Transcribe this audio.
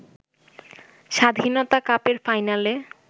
স্বাধীনতা কাপের ফাইনালে